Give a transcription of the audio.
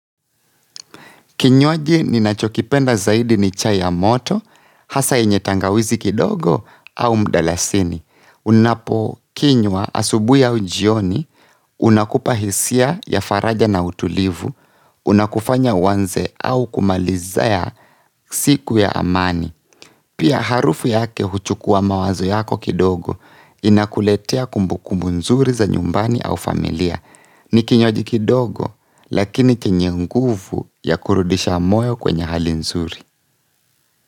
Kinywaji ninachokipenda zaidi ni chai ya moto, hasa yenye tangawizi kidogo au mdalasini. Unapo kinywa asubuhi au jioni, unakupa hisia ya faraja na utulivu, unakufanya uanze au kumalizia siku ya amani. Pia harufu yake huchukua mawazo yako kidogo inakuletea kumbu kumbu nzuri za nyumbani au familia. Ni kinywaji kidogo lakini chenye nguvu ya kurudisha moyo kwenye hali nzuri.